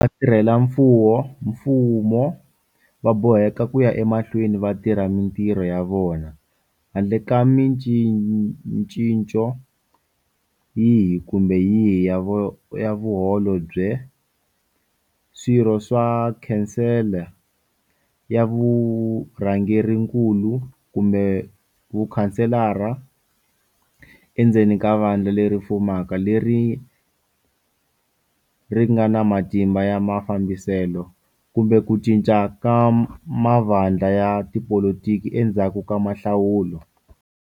Vatirhelamfumo va boheka ku ya emahlweni va tirha mitirho ya vona handle ka micinco yihi kumbe yihi ya Vaholobye, Swirho swa Khansele ya Vurhangerinkulu kumbe Vakhanselara endzeni ka vandla leri fumaka leri ri nga na matimba ya mafambiselo, kumbe ku cinca ka mavandla ya tipolitiki endzhaku ka mihlawulo.